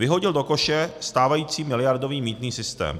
Vyhodil do koše stávající miliardový mýtný systém.